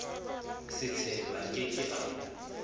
setshelo a ke ke a